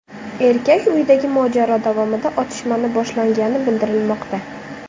Erkak uyidagi mojaro davomida otishmani boshlagani bildirilmoqda.